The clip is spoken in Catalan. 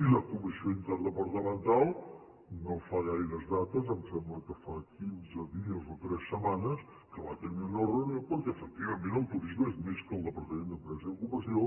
i la comissió interdepartamental no fa gaires dates em sembla que fa quinze dies o tres setmanes que va tenir una reunió perquè efectivament el turisme és més que el departament d’empresa i ocupació